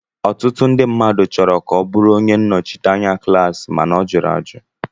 Ọtụtụ ndị mmadụ chọrọ ka ọ bụrụ onye nnọchiteanya klaasi mana ọ jụrụ ajụ